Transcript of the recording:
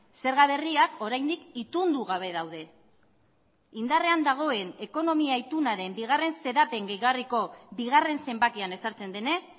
zerga berriak oraindik itundu gabe daude indarrean dagoen ekonomia itunaren bigarren xedapen gehigarriko bigarren zenbakian ezartzen denez